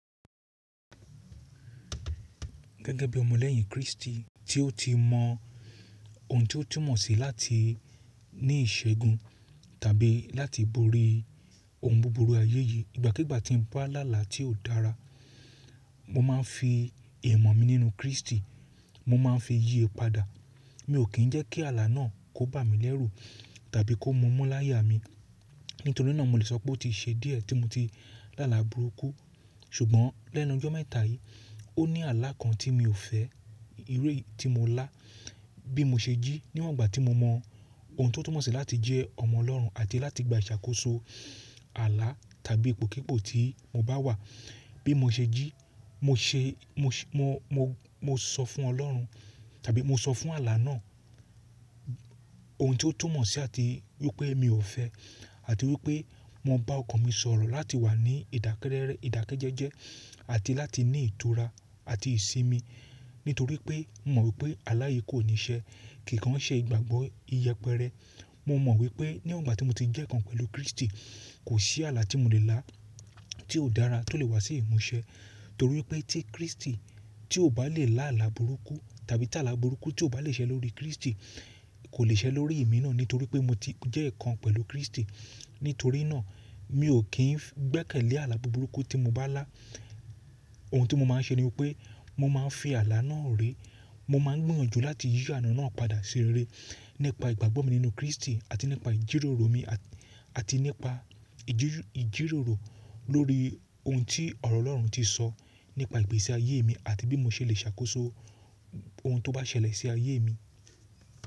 Gẹ́gẹ́ bí ọmọ lẹ́yìn Kristi tí ó ti mọ ohun tí ó túmọ̀ sí láti ní ìṣẹ́gun tàbí láti borí ohun buburu ayé yìí, ìgbàkígbà tí mo bá lá là tí ò dára, mo máa ń fi imọ̀ mi nínú Kristi, mo máa ń fi yì padà. Mi ò kí ń jẹ́ kí àlà náà kó bá mi lẹ́rù tàbí kó mú mu láya mi. Nítorí náà mo lè sọ pé ó ti ṣe díẹ̀ tí mo ti lá là burúkú. Ṣùgbọ́n lẹ́nu ọjọ́ mẹ́ta yìí, ó ní àlà kan tí mi ò fẹ́, iru eyi ti mo lá. Bí mo ṣe jí níwọ̀n ìgbà tí mo mọ ohun tí ó túmọ̀ sí láti jẹ́ ọmọ Ọlọ́run àti láti gba ìṣàkóso àlà tàbí ipòkípò tí mo bá wà. Bí mo ṣe jí, mo ṣe, mo, mo, mo sọ fún Ọlọ́run tàbí mo sọ fún àlà náà ohun tí ó túmọ̀ sí àti wípé mi ò fẹ́ àti wípé mo bá ọkàn mi sọ̀rọ̀ láti wà ní idakerere ìdákẹ́jẹ́jẹ́ àti láti ní ìtura àti ìsinmi. Nítorí pé mo mọ̀ wípé àlà yìí kò ní ṣe, kì kàn ṣe ìgbàgbọ́ iyẹpẹrẹ. Mo mọ̀ wípé níwọ̀n ìgbà tí mo ti jẹ́ ẹ̀ kan pẹ̀lú Kristi, kò sí àlà tí mo lè lá tí ò dára tó lè wá sí ìmúṣẹ. Nítorí pé tí Kristi tí ò bá lè lá àlà burúkú tàbí tí àlà burúkú tí ò bá lè ṣẹ́ lórí Kristi kò lè ṣẹ́ lórí ẹ̀mí náà nítorí pé mo ti jẹ́ ẹ̀ kan pẹ̀lú Kristi. Nítorí náà mi ò kí ń gbẹ́kẹ̀lé àlà burúkú tí mo bá lá. Ohun tí mo máa ń ṣe níwọ́n pé mo máa ń fi àlà náà re. Mo máa ń gbiyànjú láti yí ààlà náà padà sí rere nípa ìgbàgbọ́ mi nínú Kristi àti nípa ìjíròrò mi àti nípa ìjíròrò lórí ohun tí ọ̀rọ̀ Ọlọ́run ti sọ nípa ìgbésí ayé mi àti bí mo ṣe lè ṣàkóso ohun tó bá ṣẹlẹ̀ sí ayé mi.